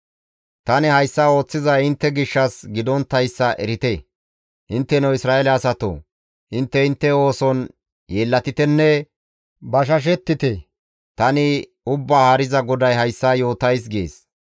Tani hayssa ooththizay intte gishshas gidonttayssa erite; intteno Isra7eele asatoo! Intte intte ooson yeellatitenne bashashettite; tani Ubbaa Haariza GODAY hayssa yootays› gees.